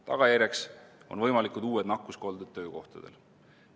Tagajärjeks on võimalikud uued nakkuskolded töökohtadel.